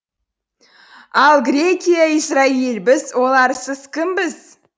ал грекия израиль біз оларсыз кімбіз